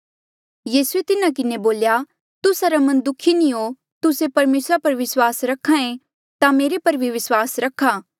तुस्सा रा मन दुखी नी हो तुस्से परमेसरा पर विस्वास रख्हा ऐें मेरे पर भी विस्वास रखा